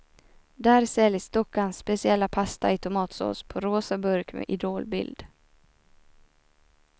Där säljs dockans speciella pasta i tomatsås på rosa burk med idolbild.